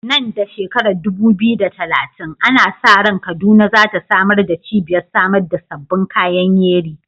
Nan da shekarar 2030, ana sa ran Kaduna za ta zama cibiyar samar da sabbin kayan yeri.